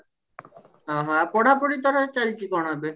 ଓ ହୋ ଆଉ ପଢାପଢି କଣ ଚାଲିଛି କଣ ଏବେ